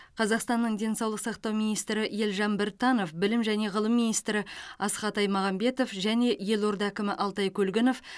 қазақстанның денсаулық сақтау министрі елжан біртанов білім және ғылым миинстрі асхат аймағамбетов және елорда әкімі алтай көлгінов